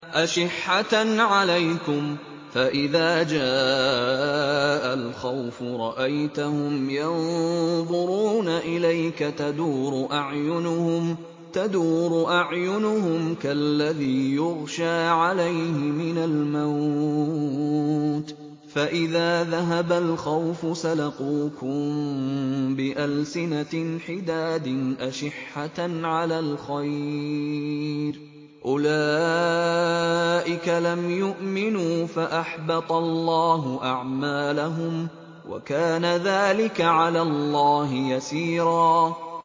أَشِحَّةً عَلَيْكُمْ ۖ فَإِذَا جَاءَ الْخَوْفُ رَأَيْتَهُمْ يَنظُرُونَ إِلَيْكَ تَدُورُ أَعْيُنُهُمْ كَالَّذِي يُغْشَىٰ عَلَيْهِ مِنَ الْمَوْتِ ۖ فَإِذَا ذَهَبَ الْخَوْفُ سَلَقُوكُم بِأَلْسِنَةٍ حِدَادٍ أَشِحَّةً عَلَى الْخَيْرِ ۚ أُولَٰئِكَ لَمْ يُؤْمِنُوا فَأَحْبَطَ اللَّهُ أَعْمَالَهُمْ ۚ وَكَانَ ذَٰلِكَ عَلَى اللَّهِ يَسِيرًا